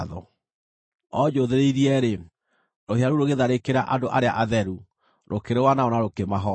O njũũthĩrĩirie-rĩ, rũhĩa rũu rũgĩtharĩkĩra andũ arĩa atheru, rũkĩrũa nao na rũkĩmahoota,